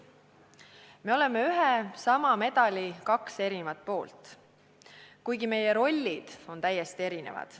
Me oleme ühe ja sama medali kaks erinevat poolt, kuigi meie rollid on täiesti erinevad.